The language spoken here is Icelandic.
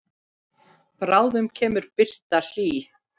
Bráðum kemur birtan hlý.